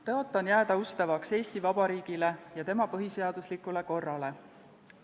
Tõotan jääda ustavaks Eesti Vabariigile ja tema põhiseaduslikule korrale.